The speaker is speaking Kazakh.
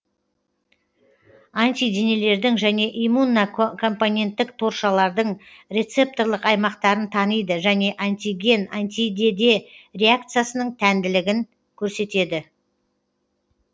антиденелердің және иммунокомпетенттік торшалардың рецепторлық аймақтарын таниды және антиген антидеде реакциясының тәнділігін көрсетеді